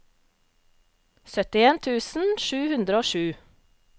syttien tusen sju hundre og sju